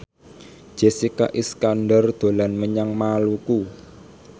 Jessica Iskandar dolan menyang Maluku